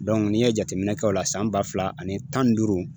n'i ye jateminɛ kɛ o la san ba fila ani tan ni duuru